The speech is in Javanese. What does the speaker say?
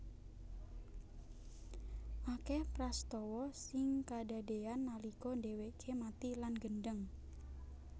Akeh prastawa sing kadadean nalika dheweke mati lan gendheng